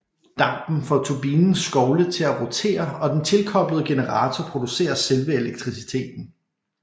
Dampen får turbinens skovle til at rotere og den tilkoblede generator producerer selve elektriciteten